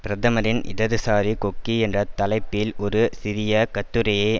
பிரதமரின் இடதுசாரி கொக்கி என்ற தலைப்பில் ஒரு சிறிய கட்டுரையை